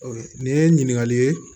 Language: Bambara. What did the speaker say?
Nin ye ɲininkali ye